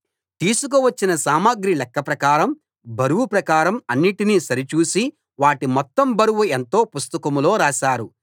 తీసుకువచ్చిన సామగ్రి లెక్క ప్రకారం బరువు ప్రకారం అన్నిటినీ సరిచూసి వాటి మొత్తం బరువు ఎంతో పుస్తకంలో రాశారు